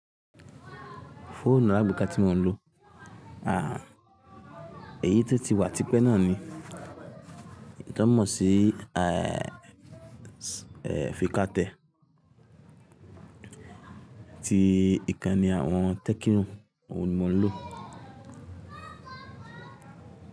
Fóònù àgbéká tí mò ń lò, à, èyí tó ti wà tipẹ́ náà ni. Kí n tó mọ̀ sí, à, èèò, fií kátẹ̀. Ti ìkànnì àwọn tẹ́kíno, òun ni mò ń lò.